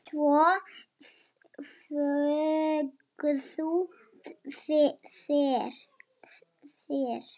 Svo þögðu þeir.